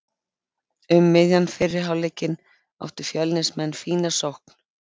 Um miðjan fyrri hálfleikinn áttu Fjölnismenn fína sókn.